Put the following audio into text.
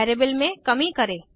variable में कमी करें